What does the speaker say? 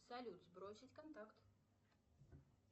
салют сбросить контакт